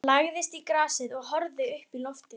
Hann lagðist í grasið og horfði uppí loftið.